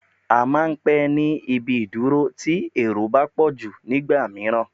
À máà ń pé ní ibi ìdúró tí èrò bá pọ̀jù nígbà mìíràn